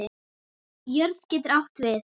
Jörð getur átt við